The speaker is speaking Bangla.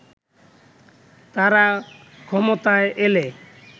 তারা ক্ষমতায় এলে